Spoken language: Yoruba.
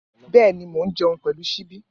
Bẹ̀ẹ́ní, mó n jẹun pẹlu síbì.